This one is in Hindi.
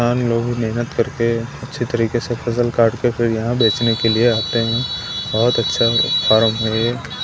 हम लोग मेहनत करके अच्छी तरीके से फसल काट के फिर यहां बेचने के लिए आते हैं बहुत अच्छा फार्म है यह।